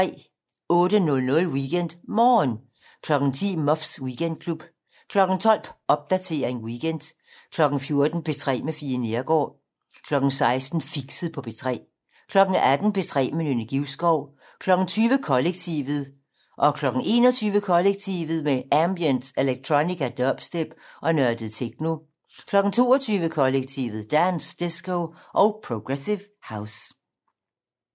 08:00: WeekendMorgen 10:00: Muffs Weekendklub 12:00: Popdatering weekend 14:00: P3 med Fie Neergaard 16:00: Fixet på P3 18:00: P3 med Nynne Givskov 20:00: Kollektivet 21:00: Kollektivet: Ambient, electronica, dubstep og nørdet techno 22:00: Kollektivet: Dance, disco og progressive house